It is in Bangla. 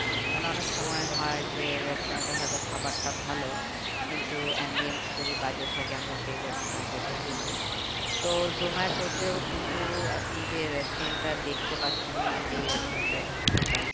অনেক সময় হয় যে restaurant এর হয়তো খাবারটা ভালো কিন্তু যদি বাজে থাকে আমরা সেই restaurant এ ঢুকি না তো জোমাটোতেও কিন্তু আপনি যে restaurant টা দেখতে পাচ্ছেন না যে এই এই restaurant টায় ঢুকতে চাই